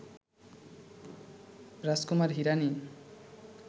Rajkumar Hirani